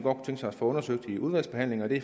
os at få undersøgt i udvalgsbehandlingen og det